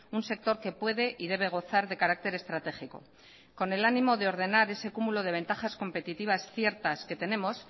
un sector que puede y debe gozar de carácter estratégico con el ánimo de ordenar ese cúmulo de ventajas competitivas ciertas que tenemos